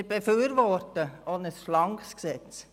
Wir befürworten ein schlankes Gesetz.